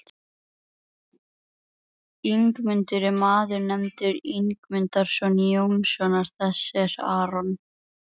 Ingimundur er maður nefndur Ingimundarson Jónssonar, þess er Arnór